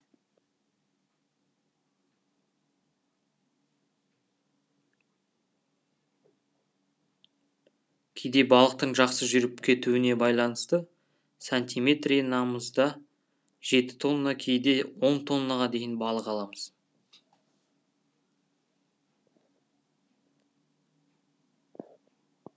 кейде балықтың жақсы жүріп кетуіне байланысты сантиметренамызда жеті тонна кейде он тоннаға дейін балық аламыз